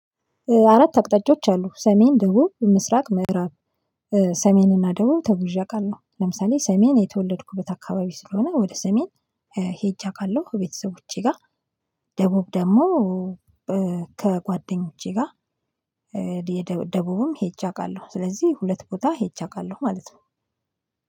አራት አቅጣጫዎች አሉ። ሰሜን ደቡብ ምስራቅ ምዕራብ ሰሜንና ደቡብ ተጉዠ አቃለሁ። ለምሳሌ ሰሜን የተወለድኩበት አካባቢ ስለሆነ ወደ ሰሜን ሄጀ አቃለሁ። ቤተሰቦቼ ጋር ደቡብ ደግሞ ከጓደኞቼ ጋር ደቡብም ሄጄ አውቃለሁ። ስለዚህ ሁለት ቦታ ሄጃ አቃለሁ ማለት ነው።